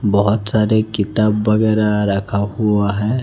बहोत सारे किताब वगैरा रखा हुआ है।